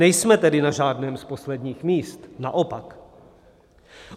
Nejsme tedy na žádném z posledních míst, naopak.